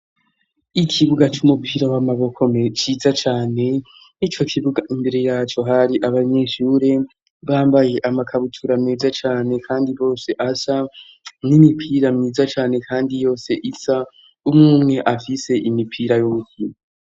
Ikibuga c'umupira w'amaboko ciza cane n'icyo kibuga imbere yacyo hari abanyeshure bambaye amakabutura meza cyane kandi bose asa n'imipira myiza cyane kandi yose isa umwumwe afise imipira y'ubuko.